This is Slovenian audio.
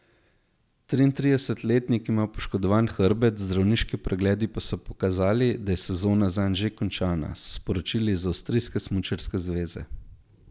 Triintridesetletnik ima poškodovan hrbet, zdravniški pregledi pa so pokazali, da je sezona zanj že končana, so sporočili iz avstrijske smučarske zveze.